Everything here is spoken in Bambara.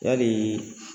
Yali